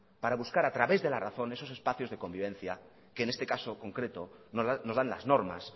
para buscar a través de la razón esos espacios de convivencia que en este caso concreto nos dan las normas